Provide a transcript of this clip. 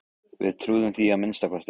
Við trúðum því að minnsta kosti.